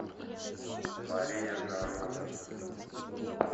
мария жарова